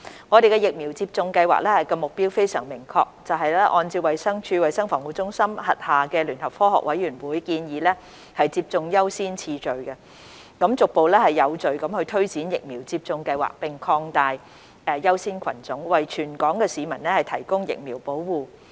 我們的疫苗接種計劃目標非常明確，就是按照衞生署衞生防護中心轄下聯合科學委員會建議的接種優先次序，逐步有序推展疫苗接種計劃並擴大優先群組，為全港市民提供疫苗保護。